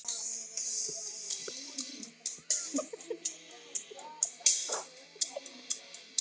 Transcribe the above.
En hvernig á eldaskálinn að nýtast?